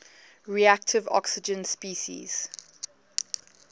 reactive oxygen species